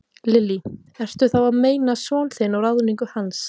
Lillý: Ertu þá að meina son þinn og ráðningu hans?